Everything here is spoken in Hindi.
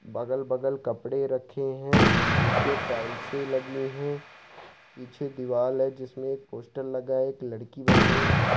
बगल-बगल कपड़े रखे हैं नीचे टाइल्से लगी हैं पीछे दीवाल है जिसमें एक पोस्टर लगा है एक लड़की बनी है।